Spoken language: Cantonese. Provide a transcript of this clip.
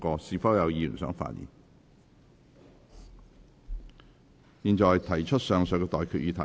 我現在向各位提出上述待決議題。